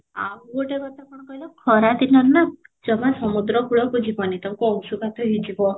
ଆଉ ଗୋଟେ କଥା କ'ଣ କହିଲ ଖରା ଦିନରେ ନା ଜମା ସମୁଦ୍ର କୂଳକୁ ଯିବ ନି ତମକୁ ଅଶୁଘାତ ହେଇଯିବ